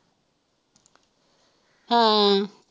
ਹਾਂ